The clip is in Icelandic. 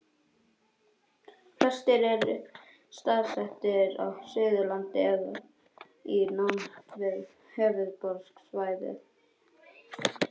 Flestir eru staðsettir á Suðurlandi eða í nánd við höfuðborgarsvæðið.